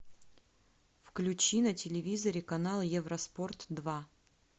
включи на телевизоре канал евроспорт два